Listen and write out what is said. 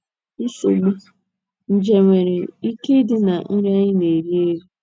NSOGBU: Nje nwere ike ịdị ná nri anyị na - eri - eri.